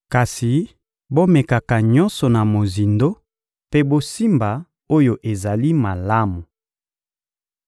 kasi bomekaka nyonso na mozindo mpe bosimba oyo ezali malamu.